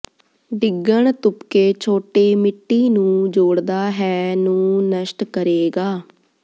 ਡਿੱਗਣ ਤੁਪਕੇ ਛੋਟੇ ਮਿੱਟੀ ਨੂੰ ਜੋਡ਼ਦਾ ਹੈ ਨੂੰ ਨਸ਼ਟ ਕਰੇਗਾ